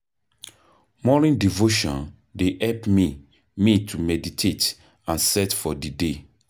Morning devotion dey help me me to meditate and set for di day.